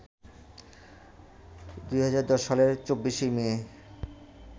২০১০ সালের ২৪শে মে